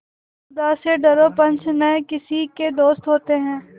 खुदा से डरो पंच न किसी के दोस्त होते हैं